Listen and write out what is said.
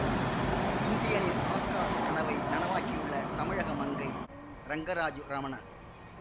இந்தியனின் Oscar கனவை நனவாக்கியுள்ள தமிழக மங்கை ரங்கராஜு ரமணன்